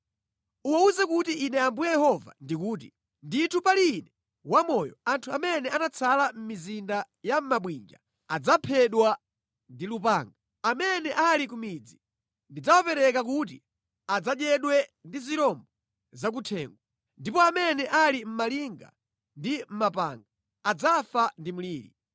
“Uwawuze kuti Ine Ambuye Yehova ndikuti, ‘Ndithu pali Ine wamoyo, anthu amene anatsala mʼmizinda ya mabwinja adzaphedwa ndi lupanga, amene ali ku midzi ndidzawapereka kuti adzadyedwe ndi zirombo zakuthengo, ndipo amene ali mʼmalinga ndi mʼmapanga adzafa ndi mliri.